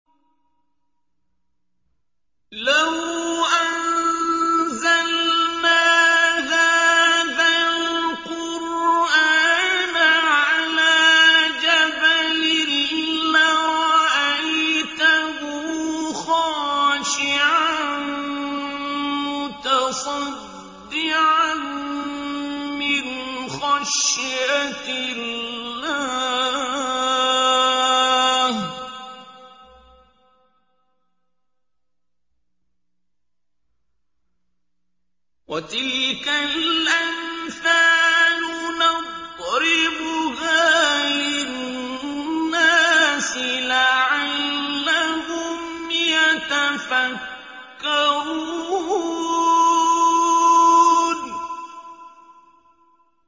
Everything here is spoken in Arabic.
لَوْ أَنزَلْنَا هَٰذَا الْقُرْآنَ عَلَىٰ جَبَلٍ لَّرَأَيْتَهُ خَاشِعًا مُّتَصَدِّعًا مِّنْ خَشْيَةِ اللَّهِ ۚ وَتِلْكَ الْأَمْثَالُ نَضْرِبُهَا لِلنَّاسِ لَعَلَّهُمْ يَتَفَكَّرُونَ